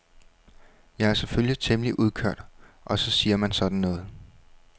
Jeg er selvfølgelig temmelig udkørt og så siger man sådan noget.